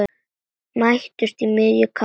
Mætumst í miðju kafi.